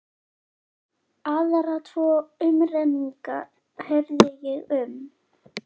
Aðra tvo umrenninga heyrði ég um.